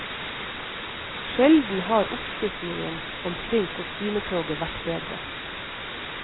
Sjelden har oppslutningen omkring kostymetoget vært bedre.